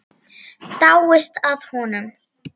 Dáist að honum.